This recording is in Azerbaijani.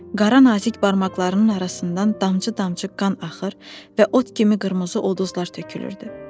Qara nazik barmaqlarının arasından damcı-damcı qan axar və ot kimi qırmızı uluzlar tökülürdü.